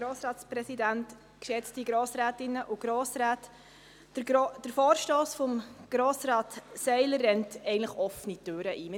Der Vorstoss von Grossrat Seiler rennt offene Türen ein.